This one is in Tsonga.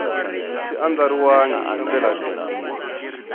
xi andlariwangi hi ndlela leyi